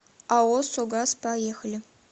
ао согаз поехали